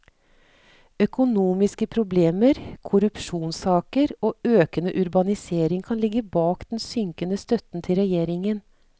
Økonomiske problemer, korrupsjonssaker og økende urbanisering kan ligge bak den synkende støtten til regjeringen.